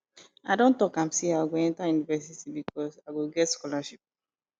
i don tok am sey i go enta university because i go get scholarship